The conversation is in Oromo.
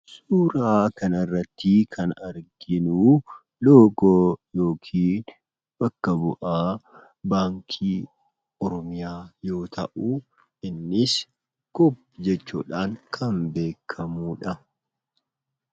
Suuraa kana irratti kan arginu, loogoo yookiin bakka bu'aa baankii Oromiyaa yoo ta'uu, innis (COOP) jechuudhaan kan beekamudha.